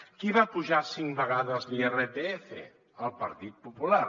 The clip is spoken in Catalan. qui va apujar cinc vegades l’irpf el partit popular